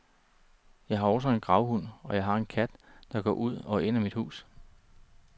Jeg har også en gravhund og jeg har en kat, der går ud og ind af mit hus.